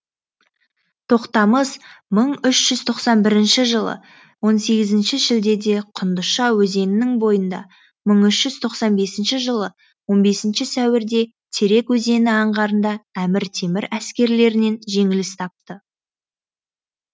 тоқтамыс мың үш жүз тоқсан бірінші жылы он сегізінші шілдеде құндызша өзенінің бойында мың үш жүз тоқсан бесінші жылы он бесінші сәуірде терек өзені аңғарында әмір темір әскерлерінен жеңіліс тапты